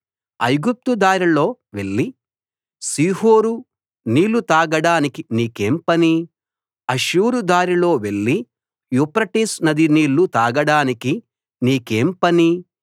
ఐగుప్తు దారిలో వెళ్లి షీహోరు నీళ్లు తాగడానికి నీకేం పని అష్షూరు దారిలో వెళ్లి యూఫ్రటీసు నది నీళ్లు తాగడానికి నీకేం పని